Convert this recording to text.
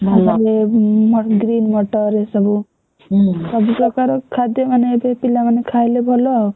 ତାପରେ green ମଟର ଏସବୁ ସବୁପ୍ରକାର ଖାଦ୍ୟ ମାନେ ପିଲାମାନେ ଖାଇଲେ ଭଲ ଆଉ।